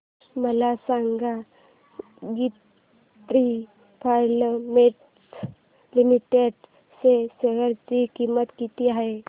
मला सांगा Ginni filaments limited च्या शेअर ची किंमत किती आहे